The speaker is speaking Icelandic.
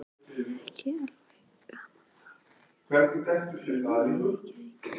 Er ekki ægilega gaman að eiga heima í Reykjavík?